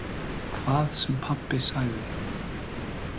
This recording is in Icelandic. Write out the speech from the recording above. Hvað sem pabbi sagði.